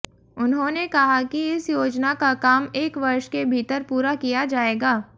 उन्होंने कहा कि इस योजना का काम एक वर्ष के भीतर पूरा किया जाएगा